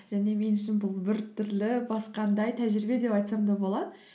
және мен үшін бұл біртүрлі басқандай тәжірибе деп айтсам да болады